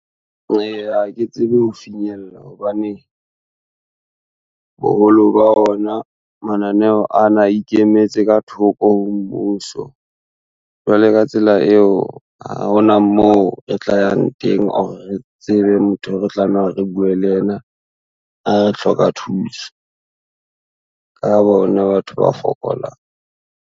Ha ke tsebe ho finyella hobane, boholo ba ona mananeo ana a ikemetse ka thoko ho mmuso. Jwale ka tsela eo ha hona moo e tla yang teng or re tsebe motho eo re tlameha hore re bue le yena ha re hloka thuso, ka bona batho ba fokolang.